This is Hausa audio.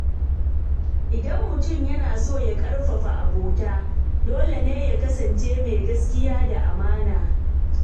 Idan mutum yana son ƙarfafa abota, dole ne ya kasance mai gaskiya da amana.